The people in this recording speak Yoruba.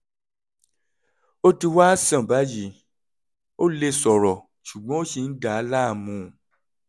ó ti wá sàn báyìí; ó lè sọ̀rọ̀ ṣùgbọ́n ó ṣì ń dà á láàmú